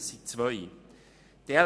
Es gibt zwei Auswirkungen: